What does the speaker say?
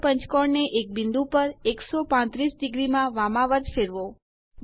મૂળ પંચકોણ ને એક બિંદુ પર 135° માં વામાવર્ત ફેરવો